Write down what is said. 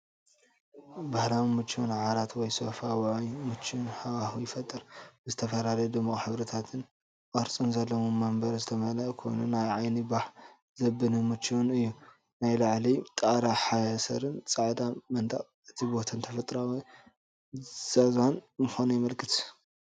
ባህላውን ምቹውን ዓራት ወይ ሶፋ ውዑይን ምቹእን ሃዋህው ይፈጥር። ብዝተፈላለየ ድሙቕ ሕብርታትን ቅርጽን ዘለዎም መንበር ዝተመልአ ኮይኑ፣ ንዓይኒ ባህ ዘብልን ምቹእን እዩ። ናይ ላዕሊ ጣርያ ሓሰርን ጻዕዳ መንደቕን እቲ ቦታ ተፈጥሮኣዊን ዘዛንን ምዃኑ የመልክት።